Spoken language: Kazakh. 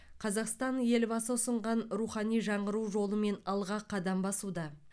қазақстан елбасы ұсынған рухани жаңғыру жолымен алға қадам басуда